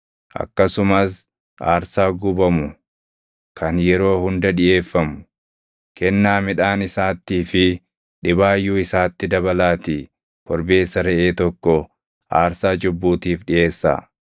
Akkasumas aarsaa gubamu kan yeroo hunda dhiʼeeffamu, kennaa midhaan isaattii fi dhibaayyuu isaatti dabalaatii korbeessa reʼee tokko aarsaa cubbuutiif dhiʼeessaa.